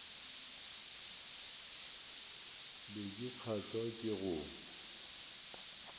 be ke kgahlwa ke go